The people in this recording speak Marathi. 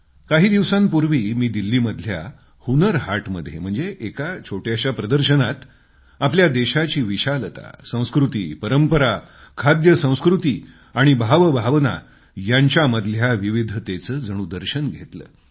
काही दिवसांपूर्वी मी दिल्लीमधल्या हुन्नर हाटमध्ये म्हणजे एका छोट्याशा स्थानी आपल्या देशाची विशालता संस्कृती परंपरा खाद्यसंस्कृती आणि भावभावना यांच्यामधल्या विविधतेचं जणू दर्शन घेतलं